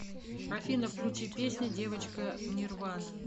афина включи песня девочка нирвана